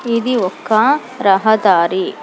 ఇది ఒక రహదారి.